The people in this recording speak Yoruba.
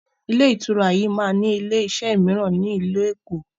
Ilé ìtura yiii máa ni ilé iṣẹ́ miran ni ilu Èkó